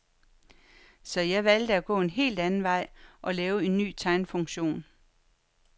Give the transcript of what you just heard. Så jeg valgte at gå en helt anden vej og lave en ny tegnefunktion.